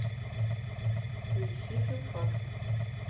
поищи филфак